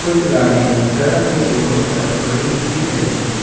कुछ गाड़ियां सड़क के दोनों तरफ खड़ी दिख रही है।